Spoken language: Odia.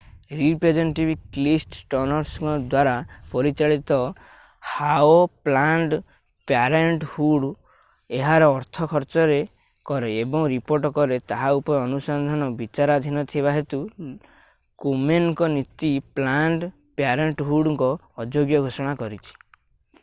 ରିପ୍ରେଜେଣ୍ଟେଟିଭ କ୍ଲିଫ୍ ଷ୍ଟର୍ନସଙ୍କ ଦ୍ଵାରା ପରିଚାଳିତ ହାଓ ପ୍ଲାନଡ୍ ପ୍ୟାରେଣ୍ଟହୁଡ ଏହାର ଅର୍ଥ ଖର୍ଚ୍ଚ କରେ ଏବଂ ରିପୋର୍ଟ କରେ ତାହା ଉପରେ ଅନୁସନ୍ଧାନ ବିଚାରାଧୀନ ଥିବା ହେତୁ କୋମେନଙ୍କ ନୀତି ପ୍ଲାନଡ ପ୍ୟାରେଣ୍ଟହୁଡକୁ ଅଯୋଗ୍ୟ ଘୋଷଣା କରିଛି